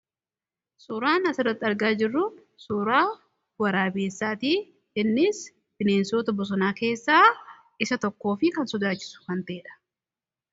suuraan as irratti argaa jirru suuraa waraabessaatii innis bineensota bosonaa keessaa isa tokkoofi kan sodaachisu kan teedha.